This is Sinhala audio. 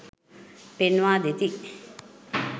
පෙන්වා දෙති.